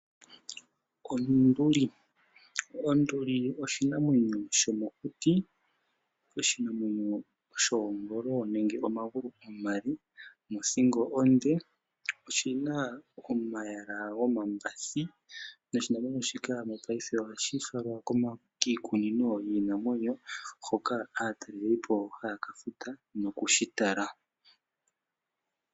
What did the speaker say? Onduli, onduli oshinamwenyo shomokuti, oshinamwenyo shoongolo nenge omagulu omale nothingo onde. Oshina omayala gomambathi noshinamwenyo shika mopaife ohashi falwa kiikunino yiinamwenyo hoka aataleli po haya ka futa nokushi tala.